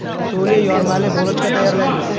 Suli yormali bulochka tayyorlaymiz.